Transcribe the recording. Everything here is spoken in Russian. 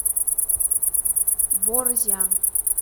борзя